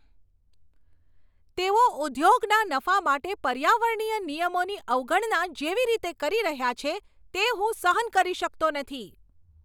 તેઓ ઉદ્યોગના નફા માટે પર્યાવરણીય નિયમોની અવગણના જેવી રીતે કરી રહ્યાં છે, તે હું સહન કરી શકતો નથી.